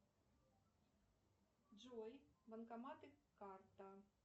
джой банкоматы карта